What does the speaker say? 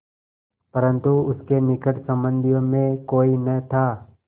परन्तु उसके निकट संबंधियों में कोई न था